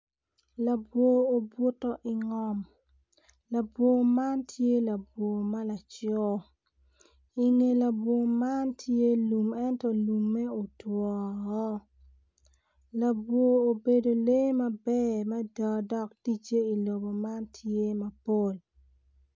Labwor obuto ingom labwor man tye labwor ma laco inge labwor man tye lum ento lumme otwo woko labwor obedo ler maber mada dok ticce i lum man tye mapol